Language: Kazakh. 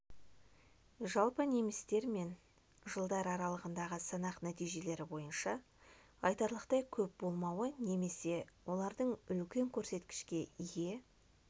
жалпы немістердің мен жылдар аралығындағы санақ нәтижелері бойынша айтарлықтай көп болмауы немесе олардың үлкен көрсеткішке ие